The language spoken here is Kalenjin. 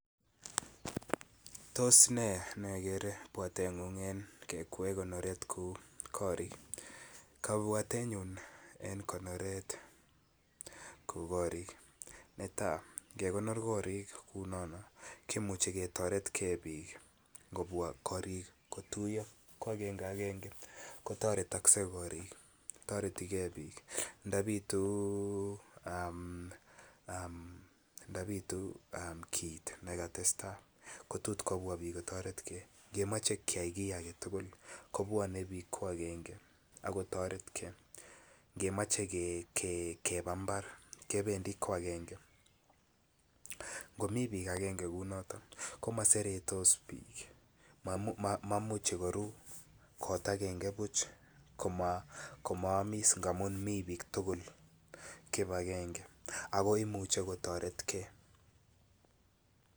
Tos ne nekere pwatengung ing kekwee konoret kou korik kabwatenyun en korik en konoret kou korik netai ange konor korik kou nono kimuche ketoret ge bik ngobwa korik kotuiyo ko agenge agenge kotoretokse bik ndabitu kit ne katestai ko tot kotoret bik nge moche keyai ki age tugul kobwanei bik ko agenge ago kotoret bik ngemoche keba mbar ko agenge komi bik en kibagenge ko maseretos bik amun momuche komaamis amun mi bik tugul kibagenge ako imuche kotoret ge